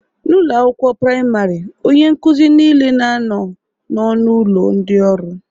N'ụlọ akwụkwọ praịmarị, onye nkuzi niile na-anọ n'ọnụ ụlọ ndị ọrụ